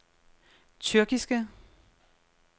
tyrkiske